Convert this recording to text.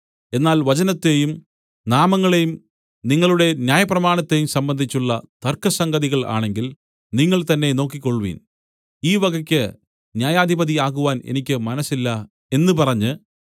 എന്നാൽ വചനത്തെയും നാമങ്ങളെയും നിങ്ങളുടെ ന്യായപ്രമാണത്തെയും സംബന്ധിച്ചുള്ള തർക്കസംഗതികൾ ആണെങ്കിൽ നിങ്ങൾതന്നെ നോക്കിക്കൊൾവിൻ ഈ വകയ്ക്ക് ന്യായാധിപതി ആകുവാൻ എനിക്ക് മനസ്സില്ല എന്ന് പറഞ്ഞ്